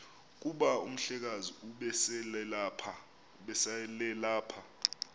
kuba umhlekazi ubeselelapha